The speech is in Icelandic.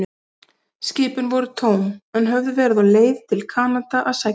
Skipin voru tóm, en höfðu verið á leið til Kanada að sækja timbur.